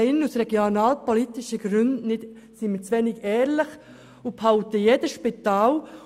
Aus regionalpolitischen Gründen sind wir hier drinnen zu wenig ehrlich und behalten jedes Spital.